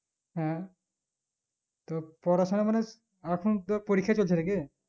হ্যাঁ পড়াশোনা মানে এখন তো পরীক্ষা চলছে নাকি